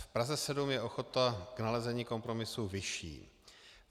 V Praze 7 je ochota k nalezení kompromisu vyšší.